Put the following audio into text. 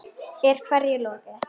Er hverju lokið?